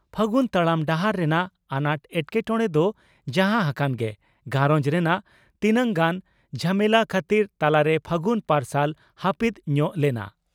ᱯᱷᱟᱹᱜᱩᱱ ᱛᱟᱲᱟᱢ ᱰᱟᱦᱟᱨ ᱨᱮᱱᱟᱜ ᱟᱱᱟᱴ ᱮᱴᱠᱮᱴᱚᱬᱮ ᱫᱚ ᱡᱟᱦᱟᱸ ᱦᱟᱠᱟᱱ ᱜᱮ ᱜᱷᱟᱨᱚᱸᱡᱽ ᱨᱮᱱᱟᱜ ᱛᱤᱱᱟᱝ ᱜᱟᱱ ᱡᱷᱟᱢᱮᱞᱟ ᱠᱷᱟᱹᱛᱤᱨ ᱛᱟᱞᱟᱨᱮ ᱯᱷᱟᱹᱜᱩᱱ ᱯᱟᱨᱥᱟᱞ ᱦᱟᱹᱯᱤᱫ ᱧᱚᱜ ᱞᱮᱱᱟ ᱾